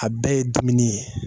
A bɛɛ ye dumuni ye